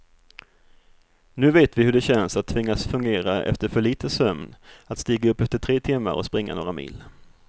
Nu vet vi hur det känns att tvingas fungera efter för lite sömn, att stiga upp efter tre timmar och springa några mil.